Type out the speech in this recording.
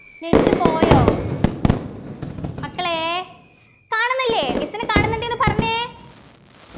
net പോയോ മക്കളെ കാണുന്നില്ലേ miss നെ കാണുന്നുണ്ട് ന്നു പറഞ്ഞെ